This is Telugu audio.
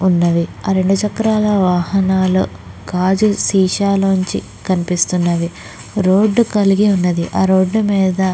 ఉన్నది ఆ రెండు చక్రాల వాహనక్లు గాజు సీసా కనిపిస్తున్నవి రోడ్ కలిగి ఉన్నది ఆ రోడ్ మీద --